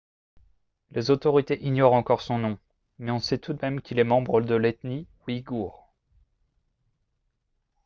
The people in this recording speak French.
les autorités ignorent encore son nom mais on sait tout de même qu'il est membre de l'ethnie ouïghour